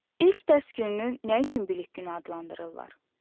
İlk dərs gününü nə üçün bilik günü adlandırırlar?